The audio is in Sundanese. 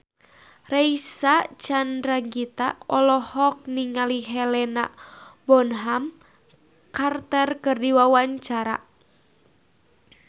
Reysa Chandragitta olohok ningali Helena Bonham Carter keur diwawancara